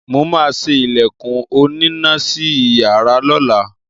Mo máa ṣe ilẹ̀kùn onínà sí iyàrá lọ́la.